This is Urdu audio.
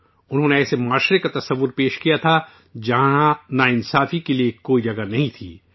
انہوں نے ایسے معاشرے کا تصور کیا تھا، جہاں نا انصافی کے لیے کوئی جگہ نہیں تھی